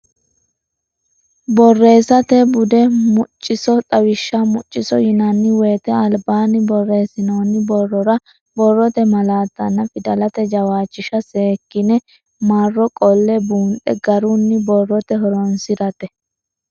Borreessate Bude Mucciso Xawishsha Mucciso yinanni woyte albaanni borreessinoonni borrora borrote malaattanna fidalete jawishsha seekkine marro qolle buunxe garunni borrote horoonsi rate.